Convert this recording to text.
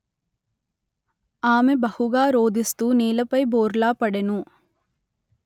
ఆమె బహుగా రోదిస్తూ నేలపై బోర్లా పడెను